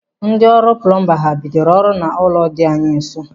Ndị ọrụ plumba ha bidoro ọrụ n'ụlọ dị anyị nso?